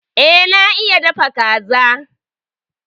E, na iya dafa kaza.